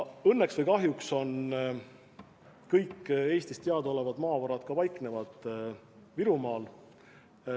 Õnneks või kahjuks kõik Eestis teadaolevad maavarad paiknevad Virumaal.